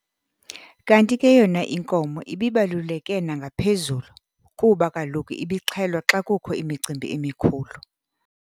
Kanti ke yona inkomo ibibaluleke nangaphezulu kuba kaloku ibixhelwa xa kukho imicimbi emikhulu.